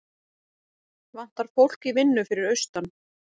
Vantar fólk í vinnu fyrir austan